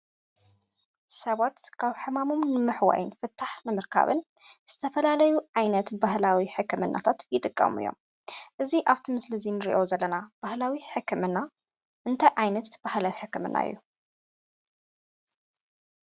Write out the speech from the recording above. ሰባት ካብ ሕማሞም ንምሕዋይን ፍታሕ ንምርካብን ዝተፈላለዩ ዓይነት ባህላዊ ሕክምናታት ይጥቀሙ እዮም። እዚ ኣብቲ ምስሊ እዚ እንሪኦ ዘለና ባህላዊ ሕክምና እንታይ ዓይነት ባህላዊ ሕክምና እዩ?